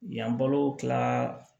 Yan balo kila